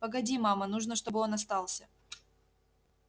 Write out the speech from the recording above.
погоди мама нужно чтобы он остался